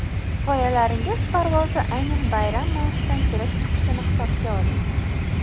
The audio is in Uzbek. G‘oyalaringiz parvozi aynan bayram mavzusidan kelib chiqishini hisobga oling.